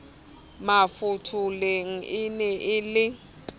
mafotholeng e ne e le